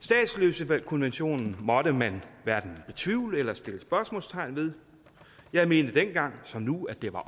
statsløsekonventionen måtte man hverken betvivle eller sætte spørgsmålstegn ved jeg mente dengang som nu at det var